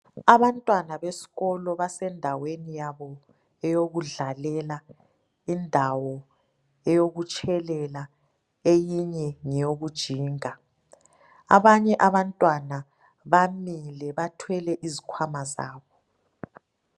Abantwana besikolo basendaweni yabo yokudlalela indawo eyokutshelela eyinye ngeyokujinga abanye abantwana bamile bathwele izikhwama zabo.